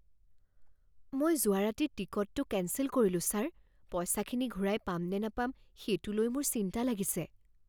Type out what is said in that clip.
মই যোৱা ৰাতি টিকটটো কেঞ্চেল কৰিলোঁ, ছাৰ। পইচাখিনি ঘূৰাই পাম নে নাপাম সেইটো লৈ মোৰ চিন্তা লাগিছে।